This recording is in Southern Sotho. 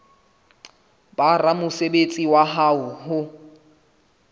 ba ramosebetsi wa hao ho